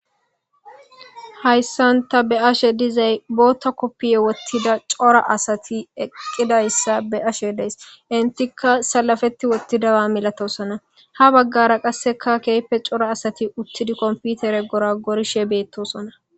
Haysan ta be'ashe dizay botha kopiya wotida c'ora asati eqidaysa be'ashe de'ays enitika salafeti wotidaba malatosona ha bagara qaseka kehipe c'ora asati utidi kompitere goragorishe betosona.